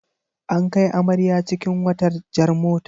An kai amarya cikin wata jar mota.